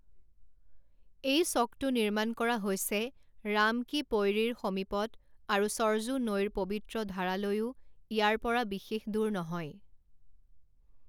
এই চকটো নিৰ্মাণ কৰা হৈছে ৰাম কী পৈড়ী ৰ সমীপত আৰু সৰজু নৈৰ পবিত্ৰ ধাৰালৈও ইয়াৰ পৰা বিশেষ দূৰ নহয়।